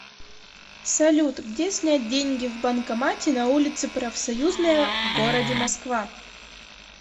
салют где снять деньги в банкомате на улице профсоюзная в городе москва